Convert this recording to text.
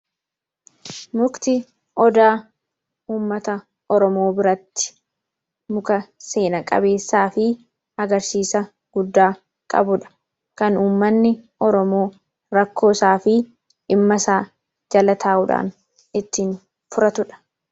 mukti odaa ummata oromoo biratti muka seenaa-qabeessaa fi magarsiisa guddaa qabuudha kan ummanni oromoo rakkoo isaa fi dhimmasaa jala taa'uudhaan ittiin furatuudha.